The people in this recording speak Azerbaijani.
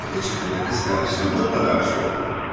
Devəcikəyə ilə qız qardaşına mütləq bir şey oldu.